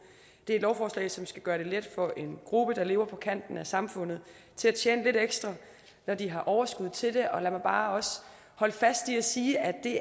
det er et lovforslag som skal gøre det let for en gruppe der lever på kanten af samfundet at tjene lidt ekstra når de har overskud til det og lad mig bare også holde fast i at sige at det